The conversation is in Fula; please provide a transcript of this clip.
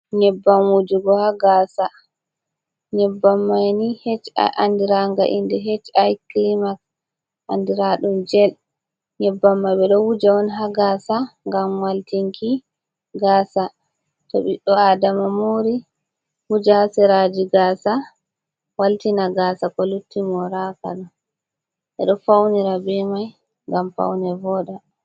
Nyebbam wujugo ha gasa. Nyebbam mai ni andira nga inde H, I,KILIMAK, andiradum jel. Nyebbam mai ɓeɗo wuja on ha gaasa ngam waltinki gasa. To ɓiɗɗo adama mori wuja ha seraji gasa, waltina je lutti moraka ɗo ɓeɗo faunira be mai, ngam faune voɗa.